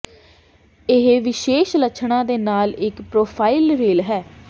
ਇਹ ਵਿਸ਼ੇਸ਼ ਲੱਛਣਾਂ ਦੇ ਨਾਲ ਇਕ ਪ੍ਰੋਫਾਈਲ ਰੇਲ ਹੈ